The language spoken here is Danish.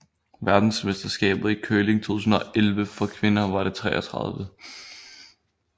Verdensmesterskabet i curling 2011 for kvinder var det 33